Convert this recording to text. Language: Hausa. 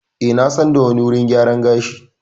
Eh na san da wani wurin gyara gashi.